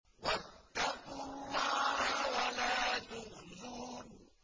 وَاتَّقُوا اللَّهَ وَلَا تُخْزُونِ